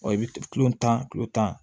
Ɔ i bɛ kilo tan kilo tan